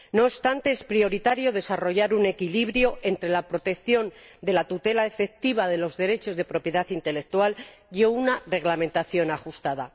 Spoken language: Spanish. No obstante, es prioritario desarrollar un equilibrio entre la protección de la tutela efectiva de los derechos de propiedad intelectual y una reglamentación ajustada.